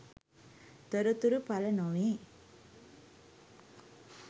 තොරතුරු පළ නොවේ